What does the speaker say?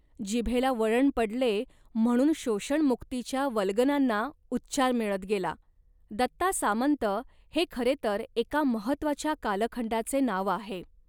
जिभेला वळण पडले म्हणून शोषणमुक्तीच्या वल्गनांना उच्चार मिळत गेला. दत्ता सामंत हे खरे तर एका महत्त्वाच्या कालखंडाचे नाव आहे